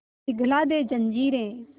पिघला दे जंजीरें